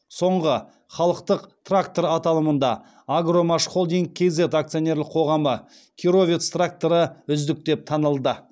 соңғы халықтық трактор аталымында агромашхолдинг кз акционерлік қоғамы кировец тракторы үздік деп танылды